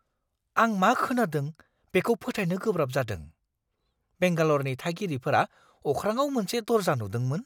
आं मा खोनादों बेखौ फोथायनो गोब्राब जादों! बेंगाल'रनि थागिरिफोरा अख्राङाव मोनसे दर्जा नुदोंमोन!